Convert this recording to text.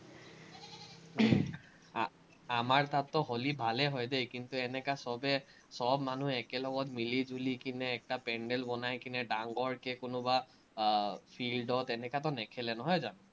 আহ আমাৰ তাততো হলি ভালে হয় দেই, কিন্তু, এনেকা চবেই চব মানুহ একেলগত মিলিজুলি কেনে একটা পেন্দেল বনাই কেনে ডাংৰকে কোনোবা আহ field ত এনেকাতো নেখেলে নহয় জানো।